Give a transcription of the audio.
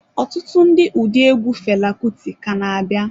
Ọtụtụ ndị ụdị egwu Fela Kuti ka na-abịa.